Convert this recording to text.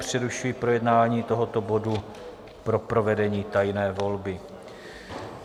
Přerušuji projednání tohoto bodu pro provedení tajné volby.